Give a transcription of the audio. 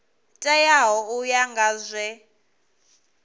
teaho u ya nga zwe